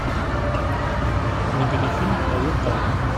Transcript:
набери фильм проект альфа